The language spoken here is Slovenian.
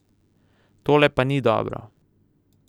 Tole pa ni dobro.